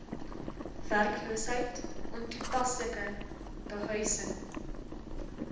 werkloosheid ontoepaslike behuising